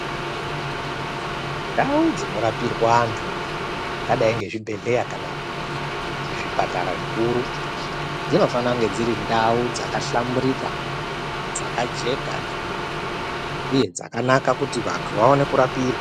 Ndau dzinorapirwa antu dzingadai nechibhedhlera kana zvipatara zvikuru zvinofana kunge dziri ndau dzakahlamburika dzakajeka uye dzakanaka kuti vantu vaone kurapirwa.